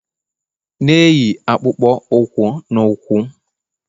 na-eyi akpụkpọ ụkwụ na ụkwụ